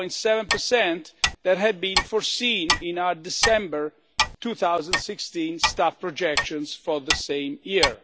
1.7 that had been foreseen in our December 2016 staff projections for the same year.